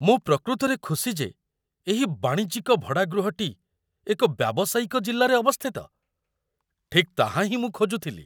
ମୁଁ ପ୍ରକୃତରେ ଖୁସି ଯେ ଏହି ବାଣିଜ୍ୟିକ ଭଡ଼ାଗୃହଟି ଏକ ବ୍ୟାବସାୟିକ ଜିଲ୍ଲାରେ ଅବସ୍ଥିତ। ଠିକ୍ ତାହା ହିଁ ମୁଁ ଖୋଜୁଥିଲି।